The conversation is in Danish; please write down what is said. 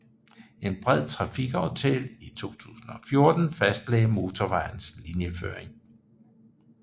En bred trafikaftale i 2014 fastlagde motorvejens linjeføring